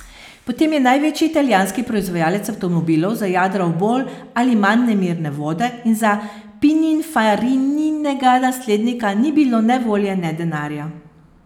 Potem je največji italijanski proizvajalec avtomobilov zajadral v bolj ali manj nemirne vode in za Pininfarininega naslednika ni bilo ne volje ne denarja.